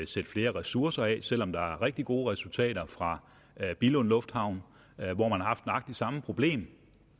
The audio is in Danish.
sætte flere ressourcer af selv om der er rigtig gode resultater fra billund lufthavn hvor man har haft nøjagtig det samme problem